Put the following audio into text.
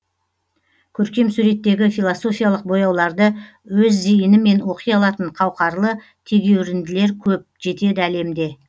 көркем суреттегі философиялық бояуларды өз зейінімен оқи алатын қауқарлы тегеуірінділер көп жетеді әлемде